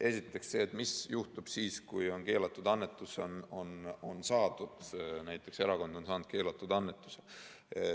Esiteks see, mis juhtub siis, kui on keelatud annetus saadud, näiteks erakond on saanud keelatud annetuse.